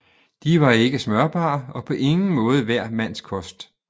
De var ikke smørbare og på ingen måde hver mands kost